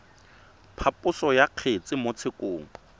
phaposo ya kgetse mo tshekong